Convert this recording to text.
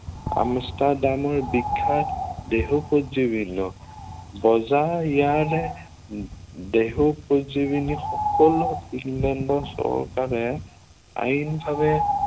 আমষ্ট্ৰাডামৰ বিখ্য়াত দেহোপজীৱি লবজাৰ ইয়াৰে উহ দেহোপজীৱনী সকলো ইংলেণ্ডৰ চৰকাৰে আইনভাৱে